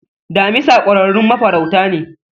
Damisa kwararrun mafaruta ne